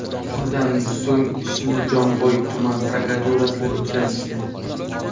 Shundan so‘ng ishni Jomboy tuman prokuraturasiga o‘tkazishdi.